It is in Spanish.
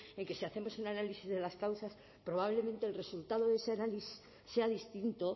en que si hacemos un análisis de las causas probablemente el resultado de ese análisis sea distinto